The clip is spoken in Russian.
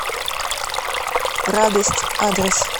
радость адрес